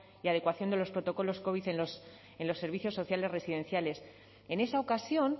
y adecuación de los protocolos covid en los servicios sociales residenciales en esa ocasión